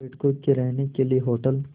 पर्यटकों के रहने के लिए होटल